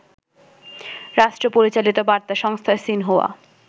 রাষ্ট্র-পরিচালিত বার্তা সংস্থা সিনহুয়া